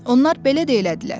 Onlar belə də elədilər.